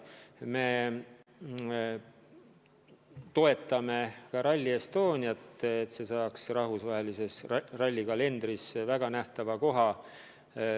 Me toetame ka Rally Estoniat, et see saaks rahvusvahelises rallikalendris väga nähtava koha.